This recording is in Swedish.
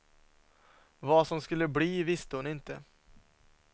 Vad som skulle bli visste hon inte.